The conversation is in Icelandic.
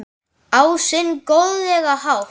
Á sinn góðlega hátt.